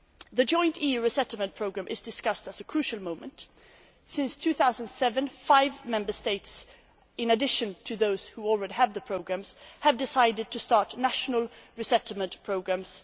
The Joint EU resettlement programme is being discussed at a crucial time since 2007, five Member States in addition to those which already had the programmes have decided to start national resettlement programmes.